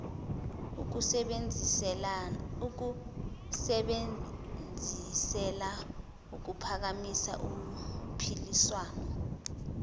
ukusebenzisela ukuphakamisa uphiliswano